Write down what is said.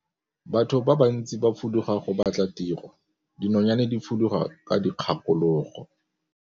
Batho ba bantsi ba fuduga go batla tiro, dinonyane di fuduga ka dikgakologo.